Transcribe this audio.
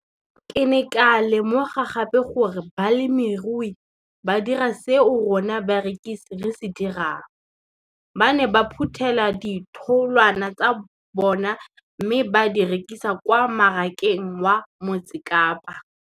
Ke ne ka lemoga gape gore balemirui ba dira seo rona barekisi re se dirang, ba ne ba phuthela ditholwana tsa bona mme ba di rekisa kwa marakeng wa Motsekapa.